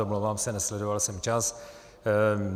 Omlouvám se, nesledoval jsem čas.